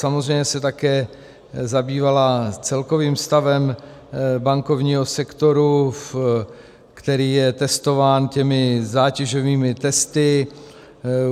Samozřejmě se také zabývala celkovým stavem bankovního sektoru, který je testován těmi zátěžovými testy.